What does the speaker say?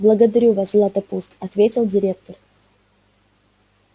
благодарю вас златопуст ответил директор